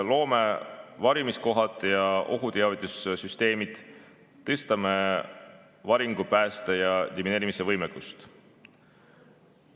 Loome varjumiskohad ja ohuteavitussüsteemid, tõstame varingupääste‑ ja demineerimisvõimekust.